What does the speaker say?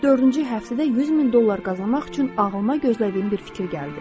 Dördüncü həftədə 100 min dollar qazanmaq üçün ağlıma gözlədiyim bir fikir gəldi.